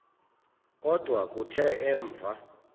kodwa kuthe emva